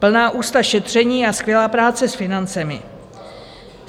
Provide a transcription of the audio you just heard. Plná ústa šetření a skvělá práce s financemi.